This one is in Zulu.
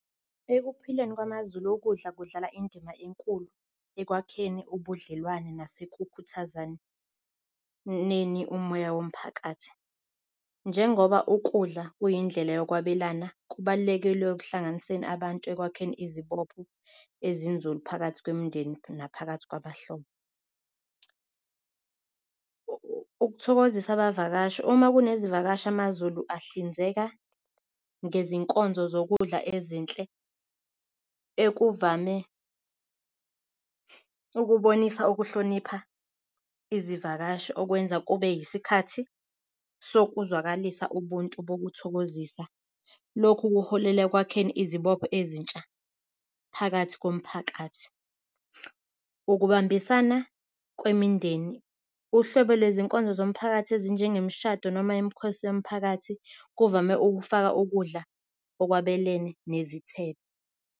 Ekuphileni wamazulu okudla kudlala indima enkulu ekwakheni ubudlelwane nase ukukhuthaza nene umoya womphakathi. Njengoba ukudla kuyindlela nokwabelana kubalulekile ekuhlanganiseni abantu ekwakheni izibopho ezinzulu phakathi kwemindeni naphakathi kwamahlombe. Ukuthokozisa abavakashi Uma kunezivakashi amazulu ahlinzeka ngezinkonzo zokudla ezinhle, okuvame ukubonisa ukuhlonipha izivakashi okwenza kube isikhathi soku. Uzwakalise ubuntu. Ukuthokozisa lokhu kuholela ekwakheni izibopho ezintsha phakathi komphakathi. Ukubambisana kwemindeni, uhlobo lwezinkonzo zomphakathi, ezinye njengemishado noma i'm because yomphakathi kuvame ukufaka ukudla okwabo elene nezithelo